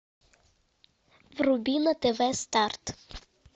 вруби на тв старт